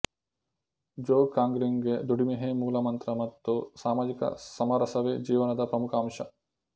ಜೋಗ್ ಕಾಂಗ್ರಿಗೆ ದುಡಿಮೆಯೇ ಮೂಲಮಂತ್ರ ಮತ್ತು ಸಾಮಾಜಿಕ ಸಮರಸವೇ ಜೀವನದ ಪ್ರಮುಖ ಅಂಶ